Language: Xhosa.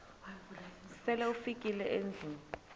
sele ufikile endlwini